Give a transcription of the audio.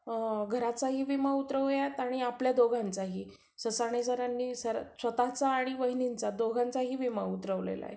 घराचाही विमा उतरवूया आणि आपल्या दोघांचाही. ससाणे सरांनी स्वतःचा आणि वहिनींचा दोघांचाही विमा उतरवला आहे.